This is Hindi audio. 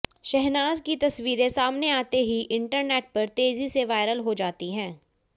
शहनाज की तस्वीरें सामने आते ही इंटरनेट पर तेजी से वायरल हो जाती हैं